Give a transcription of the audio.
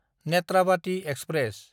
Netravati express